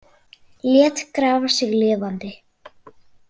Lét grafa sig lifandi